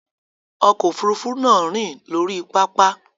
Ọkọ̀ òfurufú náà rìn lórí pápá.